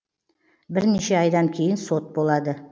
бірнеше айдан кейін сот болады